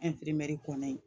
kɔnɔ in